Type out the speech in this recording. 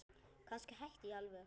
Kannski hætta alveg.